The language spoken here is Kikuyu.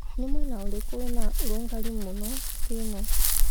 nĩ mwena ũrikũ wĩna rugari mũno thĩ ĩno